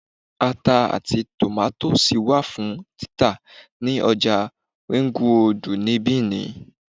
Ata àti tòmátósì wà fún títà ní ọjà Ringroòdù ní Bìní